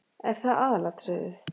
Er það aðalatriðið?